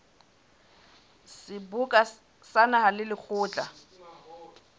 seboka sa naha le lekgotla